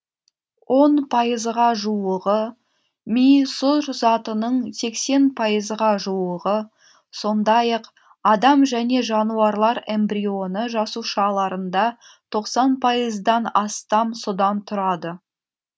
он пайызға жуығы ми сұр затының сексен пайызға жуығы сондай ақ адам және жануарлар эмбрионы жасушаларында тоқсан пайыздан астам судан тұрады